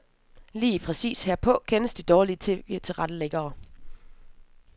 Lige præcis herpå kendes de dårlige TVtilrettelæggere.